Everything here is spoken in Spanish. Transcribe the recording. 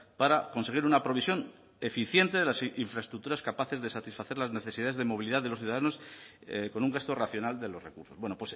para conseguir una provisión eficiente de las infraestructuras capaces de satisfacer las necesidades de movilidad de los ciudadanos con un gasto racional de los recursos bueno